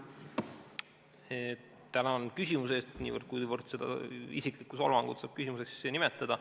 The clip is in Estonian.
Tänan küsimuse eest, niivõrd kui seda isiklikku solvangut saab küsimuseks nimetada.